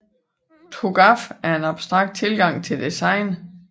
TOGAF er en abstrakt tilgang til design